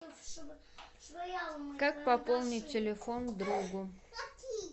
как пополнить телефон другу